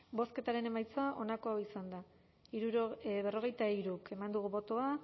bozketaren emaitza onako izan da berrogeita hiru eman dugu bozka